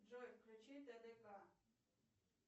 джой включи тдк